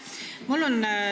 Aitäh!